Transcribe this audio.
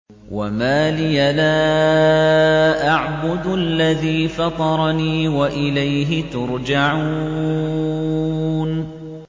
وَمَا لِيَ لَا أَعْبُدُ الَّذِي فَطَرَنِي وَإِلَيْهِ تُرْجَعُونَ